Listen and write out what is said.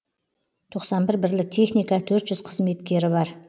тоқсан бір бірлік техника төрт жүз қызметкері бар